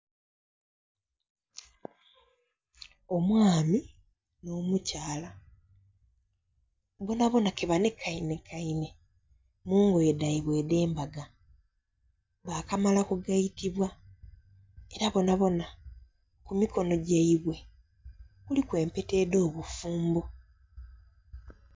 Omwami n'omukyala bonabona ke banekainekaine mu ngoye dhaibwe edh'embaga bakamala kugaitibwa era bonabona ku mikono gyaibwe kuliku empeta edh'obufumbo.